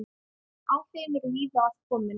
Áhrifin eru víða að komin.